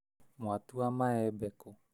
Mwatua maembe kũ?